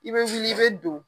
I bɛ fili i bɛ don.